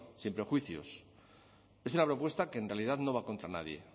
sin prejuicios es una propuesta que en realidad no va contra nadie